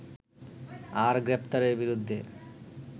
আর গ্রেপ্তারের বিরুদ্ধে